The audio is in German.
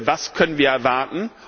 Was können wir erwarten?